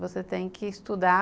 Você tem que estudar.